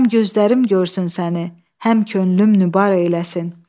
Həm gözlərim görsün səni, həm könlüm nübar eyləsin.